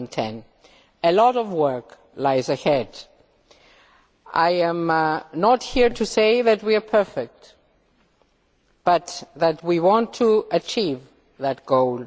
2012. A lot of work lies ahead. I am not here to say that we are perfect but that we want to achieve that goal.